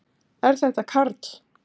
Er þetta Karl?